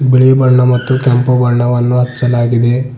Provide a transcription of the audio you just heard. ಬಿಳಿ ಬಣ್ಣ ಮತ್ತು ಕೆಂಪು ಬಣ್ಣವನ್ನು ಹಚ್ಛಲಾಗಿದೆ.